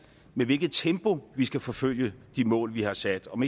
i hvilket tempo vi skal forfølge de mål vi har sat og om